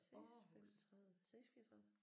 6 5 30 6 34